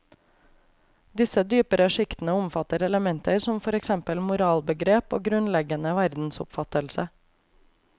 Disse dypere sjiktene omfatter elementer som for eksempel moralbegrep og grunnleggende verdensoppfattelse.